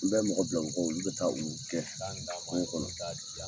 U bɛ mɔgɔ bila u kɔ , olu be taa u gɛn kungo kɔnɔ.